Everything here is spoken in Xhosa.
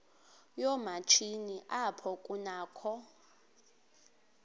yoomatshini apho kunakho